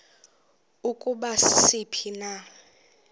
ukuba sisiphi na